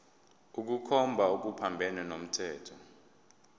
ukukhomba okuphambene nomthetho